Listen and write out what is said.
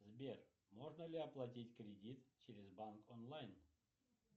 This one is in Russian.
сбер можно ли оплатить кредит через банк онлайн